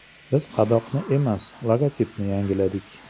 Biz qadoqni emas, logotipni yangiladik.